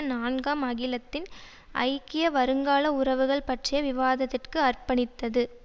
நான்காம் அகிலத்தின் ஐக்கிய வருங்கால உறவுகள் பற்றிய விவாதத்திற்கு அர்ப்பணித்தது